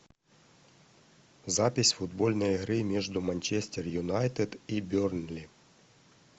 запись футбольной игры между манчестер юнайтед и бернли